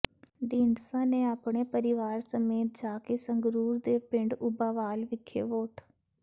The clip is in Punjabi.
ਢੀਂਡਸਾ ਨੇ ਆਪਣੇ ਪਰਿਵਾਰ ਸਮੇਤ ਜਾ ਕੇ ਸੰਗਰੂਰ ਦੇ ਪਿੰਡ ਉਭਾਵਾਲ ਵਿੱਖੇ ਵੋਟ